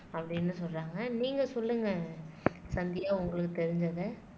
அப்படின்னு சொல்றாங்க நீங்க சொல்லுங்க சந்தியா உங்களுக்கு தெரிஞ்சத